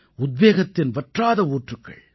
உத்வேகத்தின் வற்றாத ஊற்றுக்கள்